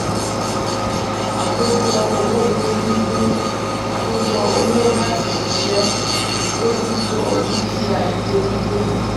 àkójọ owó ilé gbígbé (reits): àkójọ owó láti ṣiṣẹ́ ṣiṣẹ́ bójútó dúkìá ilé gbígbé.